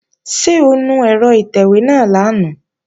Ṣé o nu ẹ̀rọ ìtẹ̀wé náà lánàá?